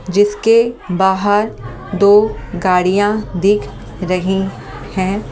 जिसके बाहर दो गाड़ियां दिख रही हैं ।